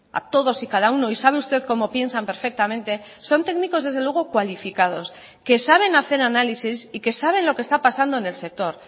a todos y cada uno y sabe usted cómo piensan perfectamente son técnicos desde luego cualificados que saben hacer análisis y que saben lo que está pasando en el sector